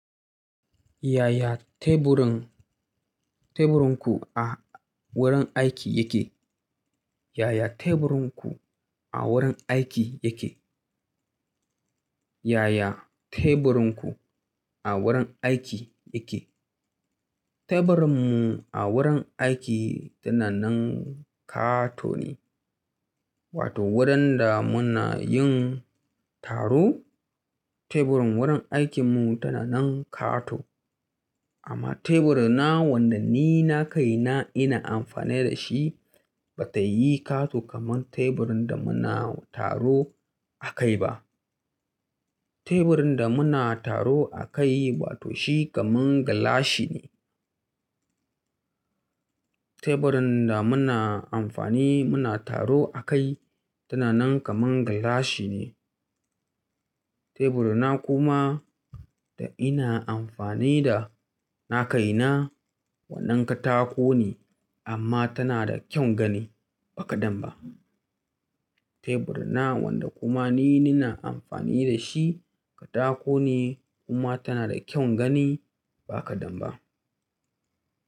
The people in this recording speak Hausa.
Yaya teburin, teburinku a wurin aiki yake? Yaya teburinku a wurin aiki yake? Yaya teburinku a wurin aiki yake? Teburinmu a wurin aiki tana nan ƙato ne, wato wurin da muna yin taro. Teburin wurin aikinmu tana nan ƙato. Amma teburina wanda ni na kai na ina amfani da shi bata yi ƙato kamar teburin da muna taro a kai ba. Teburin da muna taro a kai, wato shi kamar gilashi ne. Teburin da muna amfani muna taro a kai tana nan kamar gilashi ne. Teburina kuma da ina amfani da na kai na wannan katako ne amma tana da kyan gani ba kaɗan ba. Teburina wanda kuma ni na amfani da shi katako ne kuma tana da kyan gani ba kaɗan ba.